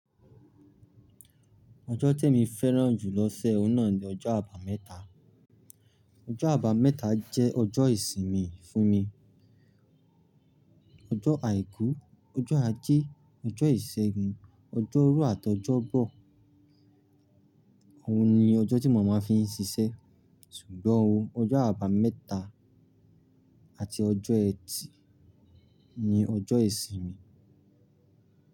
Ọjọ́ tí emi fẹ́ràn jù lọ́sẹ̀ ọ̀nà ni ọjọ́ àbámẹ́ta. Ọjọ́ àbámẹ́ta jẹ́ ọjọ́ ìsinmi fún mi. Ọjọ́ Àìkú, ọjọ́ ajé, ọjọ́ ìṣẹ́gun, ọjọ́ rú àti ọjọ́ bọ̀. Óun ni ọjọ́ tí mo máa ń fi ń ṣiṣẹ́. Ṣùgbọ́n o, ọjọ́ àbámẹ́ta àti ọjọ́ ẹtì ni ọjọ́ ìsinmi.